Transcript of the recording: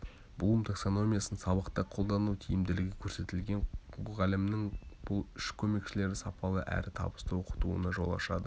блум таксономиясын сабақта қолдану тиімділігі көрсетілген мұғалімнің бұл үш көмекшілері сапалы әрі табысты оқытуына жол ашады